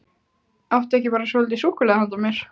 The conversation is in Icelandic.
Áttu ekki bara svolítið súkkulaði handa mér?